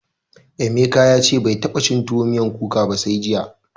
Emeka ya ce bai taɓa cin tuwo miyar kuka ba sai jiya.